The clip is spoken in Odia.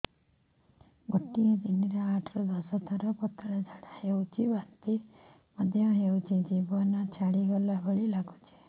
ଗୋଟେ ଦିନରେ ଆଠ ରୁ ଦଶ ଥର ପତଳା ଝାଡା ହେଉଛି ବାନ୍ତି ମଧ୍ୟ ହେଉଛି ଜୀବନ ଛାଡିଗଲା ଭଳି ଲଗୁଛି